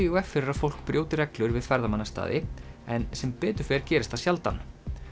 í veg fyrir að fólk brjóti reglur við ferðamannastaði en sem betur fer gerist það sjaldan